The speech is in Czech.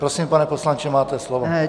Prosím, pane poslanče, máte slovo.